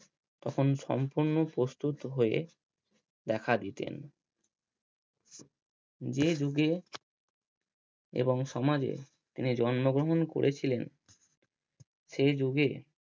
তখন সম্পূর্ণ প্রস্তুত হয়ে দেখা দিতেন যে যুগে এবং সমাজে তিনি জন্মগ্রহণ করেছিলেন সেই যুগে